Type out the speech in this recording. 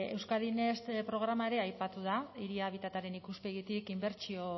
euskadi next programa ere aipatu da hiri habitataren ikuspegitik inbertsio